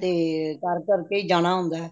ਤੇ ਕਰ ਕਰ ਕੇ ਹੀ ਜਾਣਾ ਹੁੰਦਾ